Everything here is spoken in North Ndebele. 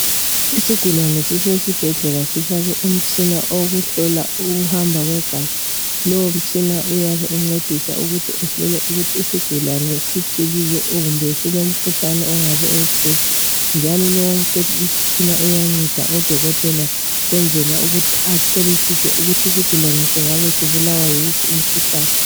Isigulane sisesibhedlela sifakwe umtshina owokuhlola ukuhamba kwegazi. Lowo mtshina uyabe uncedisa ukuthi uhlole isigulane ukuthi singabe siphilile kumbe silomkhuhlane njalo lowo umtshina uyanceda udokotela ukwenzela atholisise ukuthi isigulane singabe sibulawa yiwuphi umkhuhlane.